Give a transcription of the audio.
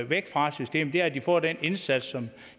væk fra det system er at de får den indsats